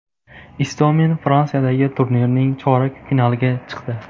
Istomin Fransiyadagi turnirning chorak finaliga chiqdi.